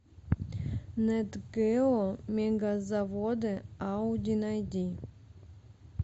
нат гео мегазаводы ауди найди